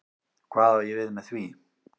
Hvað á ég við með því?